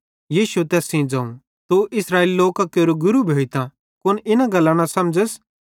यीशुए तैस सेइं ज़ोवं तू इस्राएली लोकां केरो अक खास गुरू भोइतां भी कुन इना गल्लां न समझ़स